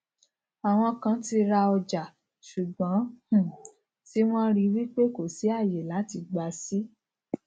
àwọn kan ti rà ọjà ṣùgbón um tí wọn rí wípé kò sì àyè láti gba sì